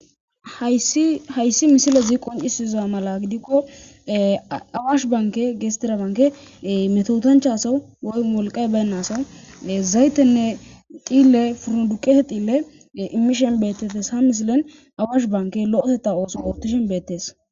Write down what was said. Hayssi misilezi qoncisiza mala gidikko awaash banke gestirabanke metotanchaso woy molqay baynnasa zaytenne diille foroduqese diille imishen beettetes ha misilen awaash banke lo'eteta ooso ooptishen beettes.